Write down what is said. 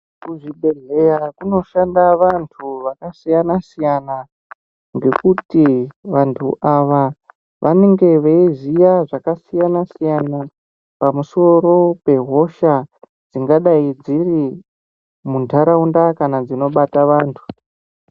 Kuzvibhehleya kunoshanda vantu vakasiyana-siyana ngekuti vantu ava vanenge veiziya zvakasiyana-siyana pamusoro pehosha dzingadai dziri muntaraunda kana dzinobata vantu.